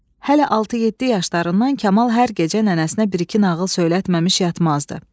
Hələ 6-7 yaşlarından Kamal hər gecə nənəsinə bir-iki nağıl söylətməmiş yatmazdı.